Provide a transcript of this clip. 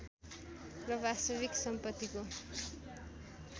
र वास्तविक सम्पत्तिको